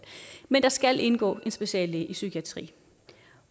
men der skal indgå en speciallæge i psykiatri